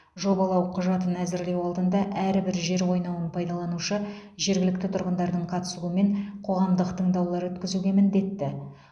жобалау құжатын әзірлеу алдында әрбір жер қойнауын пайдаланушы жергілікті тұрғындардың қатысуымен қоғамдық тыңдаулар өткізуге міндетті